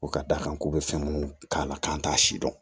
U ka d'a kan k'u bɛ fɛn minnu k'a la k'an t'a si dɔn